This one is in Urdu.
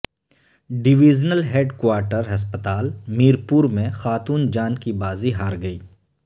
ڈویژنل ہیڈ کوارٹر ہسپتال میرپور میں خاتون جان کی بازی ہار گئی